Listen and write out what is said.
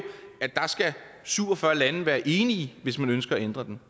at der skal syv og fyrre lande være enige hvis man ønsker at ændre den